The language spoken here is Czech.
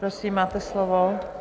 Prosím, máte slovo.